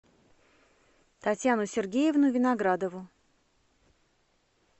татьяну сергеевну виноградову